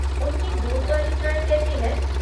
उनकी दूध वाली चाय कैसी है?